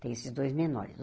Tem esses dois menores.